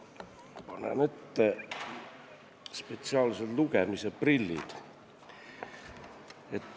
Ma panen ette spetsiaalsed lugemisprillid.